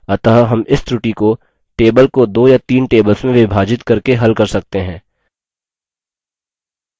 अतः हम इस त्रुटी को table को दो या तीन tables में विभाजित करके हल कर सकते हैं